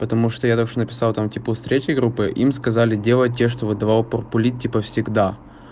потому что я там что-то написал там типа у третьей группы им сказали делать те что выдавал порпулит типа всегда